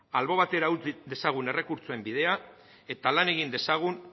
albo batera utz dezagun errekurtsoen bidea eta lan egin dezagun